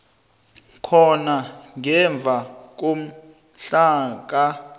khona ngemva komhlaka